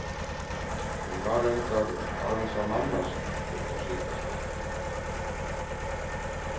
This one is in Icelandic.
Hún var reyndar aðeins að mannast upp á síðkastið.